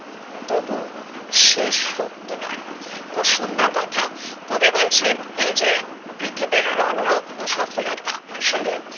তবু শেষ সত্য নয় খুব সুন্দর কথা কবি বলছেন এই যে পৃথিবীর রন রক্ত সফলতা আসলে